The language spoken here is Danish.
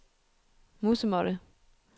musemåtte